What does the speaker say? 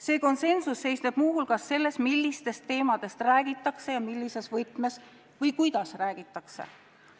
See konsensus seisneb muu hulgas selles, millistest teemadest räägitakse ja millises võtmes või kuidas neist teemadest räägitakse.